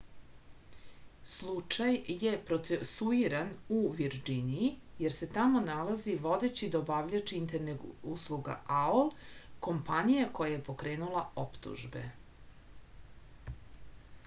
slučaj je procesuiran u virdžiniji jer se tamo nalazi vodeći dobavljač internet usluga aol kompanija koja je pokrenula optužbe